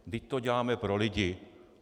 Vždyť to děláme pro lidi.